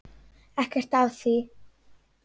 Ekkert að því.